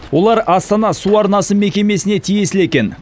олар астана су арнасы мекемесіне тиесілі екен